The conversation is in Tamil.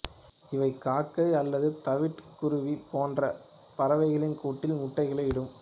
இவை காக்கை அல்லது தவிட்டு குருவி போன்ற பறவைகளின் கூட்டில் முட்டைகளை இடும்